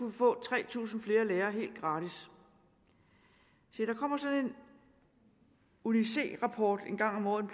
vi få tre tusind flere lærere helt gratis se der kommer sådan en uni c rapport en gang om året